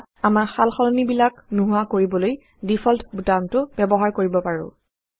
বা আমাৰ সালসলনিবিলাক নোহোৱা কৰিবলৈ ডিফল্ট বুটামটো ব্যৱহাৰ কৰিব পাৰো